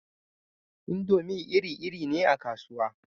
Indomi iri-iri ne a kasuwa